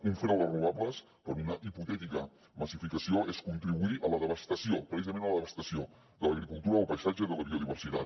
un fre a les renovables per una hipotètica massificació és contribuir a la devastació precisament a la devastació de l’agricultura del paisatge de la biodiversitat